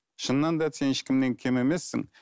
шынынан да сен ешкімнен кем емессің